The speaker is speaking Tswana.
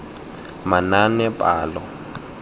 manaanepalo